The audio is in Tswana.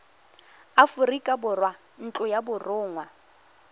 aforika borwa ntlo ya borongwa